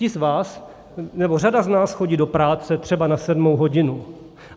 Ti z vás, nebo řada z nás chodí do práce třeba na sedmou hodinu.